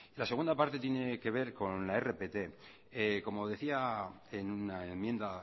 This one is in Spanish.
la segunda parte tiene que ver con la rpt como decía en una enmienda